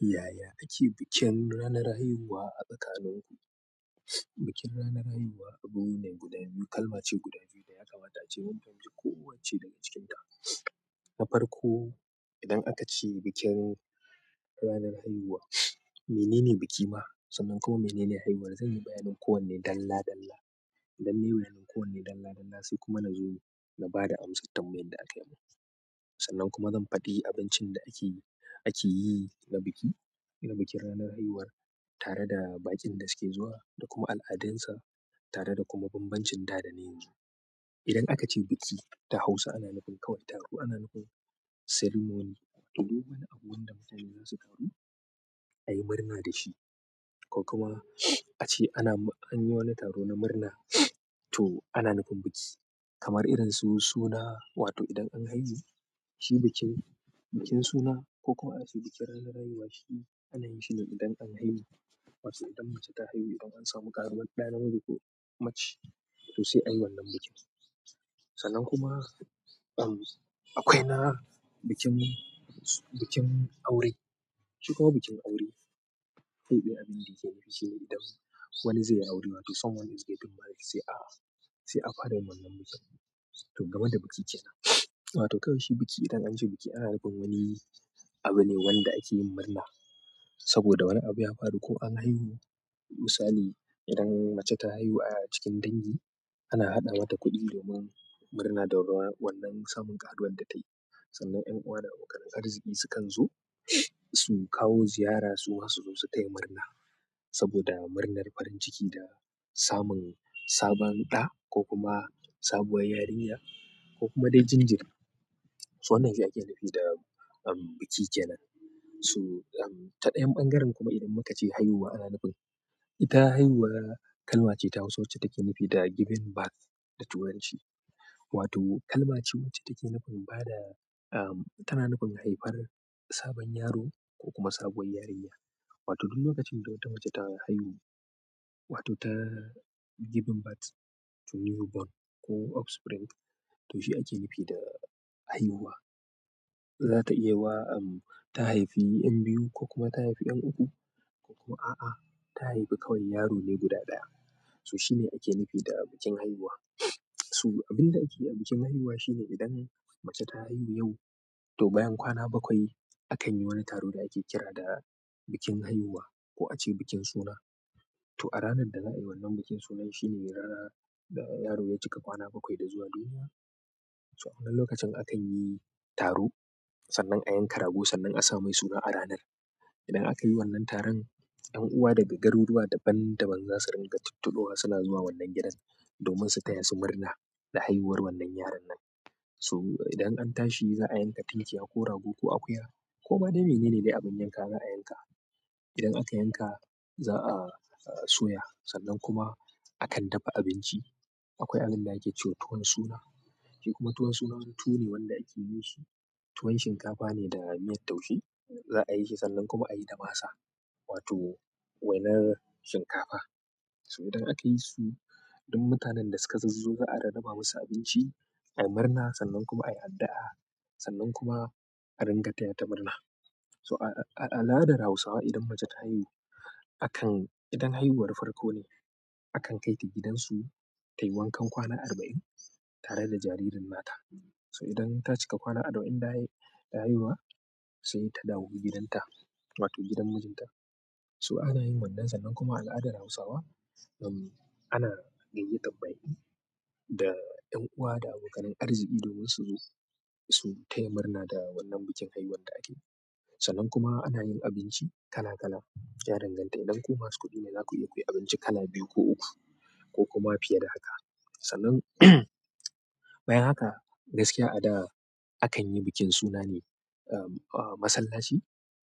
Yaya kake bikin ranar haihuwa a tsakaninku? Bikin ranar haihuwa abu ne mai guda biyu, kalma ce guda biyu ɗaya kamata a ce. Mun fahimci kowacce daga cikinta. Na farko, idan aka ce bikin ranar haihuwa, menene biki ma? Sannan kuma mene ne haihuwar? Zanyi bayanin kowanne dalla-dalla. Idan nayi bayanin kowanne dalla-dalla sai kuma na zo na ba da amsar tambayan da akayi mun sannan kuma zan faɗi abincin da ake, akeyi na biki, irin bikin ranar haihuwar tare da baƙin da suke zuwa da kuma al'adunsa tare da kuma banbancin da dana yanzu idan aka ce biki da Hausa ana nufin kawai taro. Ana nufin ceremony. To duk wani abu wanda ka sani zasu taru, ayi murna dashi ko kuma ace ana, anyi wani taro na murna to ana nufin biki kamar irin su suna, wato idan an haihu, shi bikin, bikin suna ko kuma ace bikin ranar haihuwa shi ana yin shine idan an haihu. Wato idan mace ta haihu, idan samu ƙaruwar ɗa namiji ko mace, to sai ayi wannan bikin sannan kuma, um, akwai na bikin, bikin aure. Shi kuma bikin aure, wani zayyi aure wato wani ake neman sa to game da biki kenan. Wato kawai shi biki idan an ce biki ana nufin wani abu ne wanda ake yin murna saboda wani abu ya faru ko an haihu. Misali idan mace ta haihu a cikin dangi ana haɗa mata kuɗi domin murna da wannan samun ƙaruwar da ta yi. Sannan ƴan uwa da abokan arziki sukan zo, su kawo ziyara suma su taya murna, saboda murnar farinciki da samun sabon da ko kuma sabuwar yarinya ko kuma dai jinjiri. Wannan shi ake nufi da eeehm biki kenan. So, um, ta ɗayan ɓangaren kuma idan muka ce haihuwa ana nufin, ita haihuwa kalma ce ta Hausa wacce take nufi da giving birth da turanci. Wato kalma ce wacce take bada uhm tana nufin haihuwar sabon yaro ko kuma sabuwar yarinya. Wato duk lokacin da wata mace ta haihu, wato ta given birth, ko offspring to shi ake nufi da haihuwa. Za ta iya wa, um, ta haifi ƴan biyu ko kuma ta haifi ƴan uku ko kuma a'a, ta haifi kawai yaro ne guda ɗaya. So shine ake nufi da bikin haihuwa. To abinda akeyi a bikin haihuwa, shine idan mace ta haihu yau, to bayan kwana bakwai akanyi wani taro, da ake kira da bukin haihuwa ko ace bikin suna. To a ranar da za a yi wannan bikin suna shi ne ranar da yaro ya cika kwana bakwai da zuwa duniya. To a lokacin da akayi taro, sannan a yanka rago sannan asa mai suna a ranan. Idan aka yi wannan taron ƴan uwa daga garuruwa daban daban za su ringa tunturuwa suna zuwa wannan gidan domin su taya su murna da haihuwar wannan yaron nan. So idan an tashi za a yanka tinkiya ko rago ko akuya ko ma dai mene ne dai abin yanka za a yanka. Idan aka yanka za a, a soya sannan kuma akan dafa abinci. Akwai abin da ake ce tuwon suna. Shi kuma tuwon suna wani tuwo ne wanda ake yin shi tuwon shinkafa ne da miyar taushe. Za a yi shi sannan kuma a yi da masa wato wainar shinkafa. So idan aka yi su duk mutanen da suka zaz zo a rarraba musu abinci ayi murna sannan kuma ayi addu'a sannan kuma a ringa taya ta murna. So a, a, a al'adar Hausawa idan mace ta haihu akan-- idan haihuwar farko ne akan kai ta gidansu tayi wankan kwana arba'in tare da jaririn nata. So idan ta cika kwana arba'in da, da haihuwa sai ta dawo gidan ta wato gidan mijinta. So ana yin wannan sannan kuma a al'adar Hausawa, um, ana gayyatar ma'aikata da ƴan uwa da abokanan arziki domin su zo su tayi murna da wannan bikin haihuwar da ake. Sannan kuma anayin abinci kala kala, ya danganta idan kuma masu kuɗi ne, zaku iya kuyi abinci kala biyu ko uku ko ma fiye da haka. Sannan bayan haka gaskiya a da akan yi bikin suna ne, um, a masallaci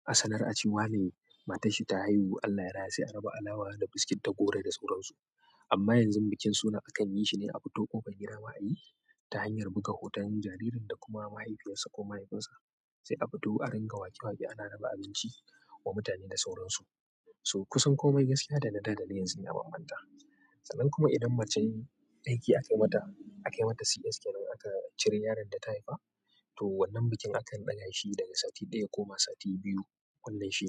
a sanar a cewa ne matar shi ta haihu Allah yara sai a raba alawa da biskit da goro da sauransu. Amma yanzu bikin suna akan yi shi ne a fito ƙofar gida malami ta hanyar buga hoton jaririn da kuma mahaifiyarsa ko mahaifinsa sai a fito a ringa wake wake ana raba abinci wa mutane da sauransu. So kusan komai gaskiya da na da daren zai iya bambanta. Sannan kuma idan mace aiki aka yi mata, aka yi mata CS kamar aka cire yaron da ta haifa to wannan bikin akan ɗaga shi daga sati ɗaya ko ma sati biyu wannan shekarar.